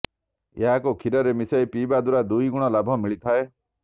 ଏହାକୁ କ୍ଷୀରରେ ମିଶାଇ ପିଇବା ଦ୍ବାରା ଦୁଇ ଗୁଣ ଲାଭ ମିଳିଥାଏ